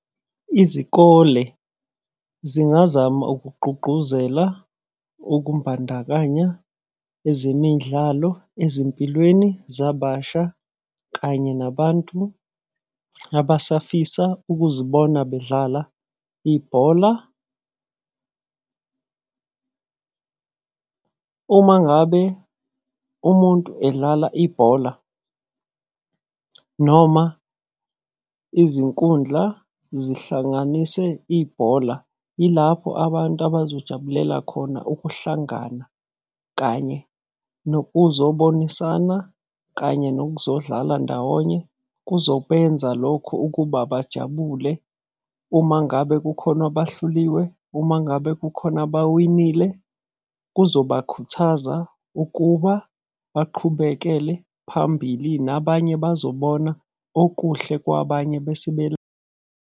Izikole zingazama ukugqugquzela ukumbandakanya ezemidlalo ezimpilweni zababasha kanye nabantu abasafisa ukuzibona bedlala ibhola. Uma ngabe umuntu edlala ibhola noma izinkundla zihlanganise ibhola, yilapho abantu abazojabulela khona ukuhlangana. Kanye nokuzobonisana, kanye nokuzodlala ndawonye, kuzobenza lokho ukuba bajabule. Uma ngabe kukhona abahluliwe, uma ngabe kukhona abawinile, kuzobakhuthaza ukuba baqhubekele phambili nabanye bazobona okuhle kwabanye bese .